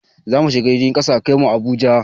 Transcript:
Zamu shiga jirgin kasa a kai mu Abuja